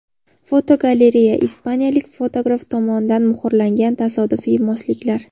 Fotogalereya: Ispaniyalik fotograf tomonidan muhrlangan tasodifiy mosliklar.